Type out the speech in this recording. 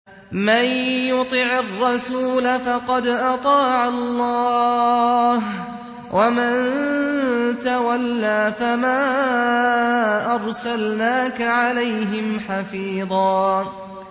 مَّن يُطِعِ الرَّسُولَ فَقَدْ أَطَاعَ اللَّهَ ۖ وَمَن تَوَلَّىٰ فَمَا أَرْسَلْنَاكَ عَلَيْهِمْ حَفِيظًا